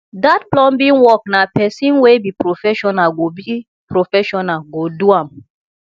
dat plumbing work na pesin wey be professional go be professional go do am